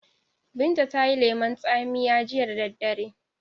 Binta tayi lemon tsamiya jiya da dare